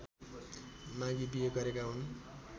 मागी बिहे गरेका हुन्